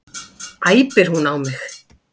æpir hún á mig.